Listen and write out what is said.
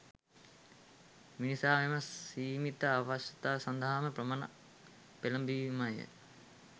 මිනිසා මෙම සීමිත අවශ්‍යතා සඳහාම පමණක් පෙළඹීමය